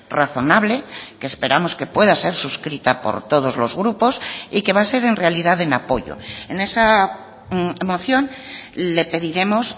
razonable que esperamos que pueda ser suscrita por todos los grupos y que va a ser en realidad en apoyo en esa moción le pediremos